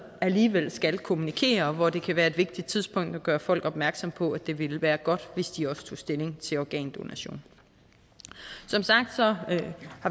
alligevel skal kommunikere og hvor det kan være et vigtigt tidspunkt at gøre folk opmærksomme på at det ville være godt hvis de også tog stilling til organdonation som sagt har